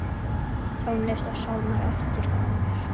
Tónlist og sálmar eftir konur.